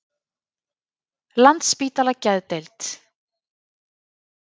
Landspítala Geðdeild